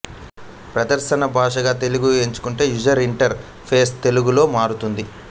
ప్రదర్శన భాష గా తెలుగు ఎంచుకొంటే యూజర్ ఇంటర్ ఫేస్ తెలుగులో మారుతుంది